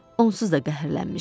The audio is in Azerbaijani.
Onsuz da qəhərlənmişdi.